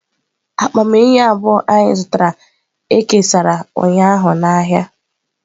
Akpa eyịm abụọ anyị zụtara e kesara ụnyaahụ n'ahịa.